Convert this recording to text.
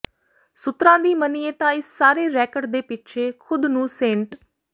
ਸੂਤਰਾਂ ਦੀ ਮੰਨੀਏ ਤਾਂ ਇਸ ਸਾਰੇ ਰੈਕਟ ਦੇ ਪਿੱਛੇ ਖ਼ੁਦ ਨੂੰ ਸੇਂਟ